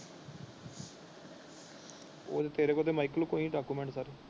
ਉਹੀ ਤੇਰੇ ਡੌਕੂਮੈਂਟ ਕੱਢ।